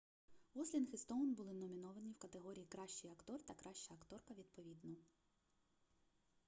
гослінг і стоун були номіновані в категорії кращий актор та краща акторка відповідно